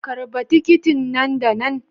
karba tikitin nan da nan.